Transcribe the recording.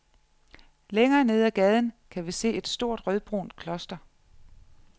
Længere nede ad gaden kan vi se et stort rødbrunt kloster.